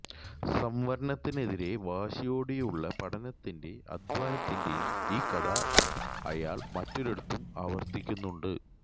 സംവരണത്തിനെതിരെ വാശിയോടെയുള്ള പഠനത്തിന്റെയും അധ്വാനത്തിന്റെയും ഈ കഥ അയാള് മറ്റൊരിടത്തും ആവര്ത്തിക്കുന്നുണ്ട്